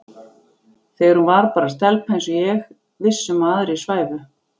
Þegar hún var bara stelpa eins og ég, viss um að aðrir svæfu.